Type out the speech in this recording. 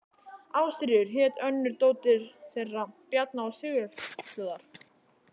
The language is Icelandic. Ástríður hét önnur dóttir þeirra Bjarna og Sigurfljóðar.